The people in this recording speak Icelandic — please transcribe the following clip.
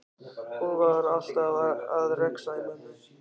Hún var alltaf að rexa í mömmu.